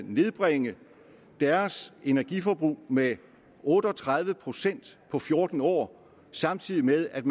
nedbringe deres energiforbrug med otte og tredive procent på fjorten år samtidig med at